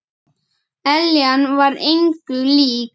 Eljan var engu lík.